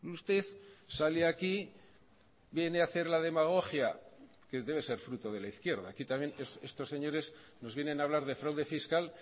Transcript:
usted sale aquí viene hacer la demagogia que debe ser fruto de la izquierda aquí también estos señores nos vienen a hablar de fraude fiscal